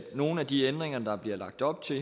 nogle af de ændringer der bliver lagt op til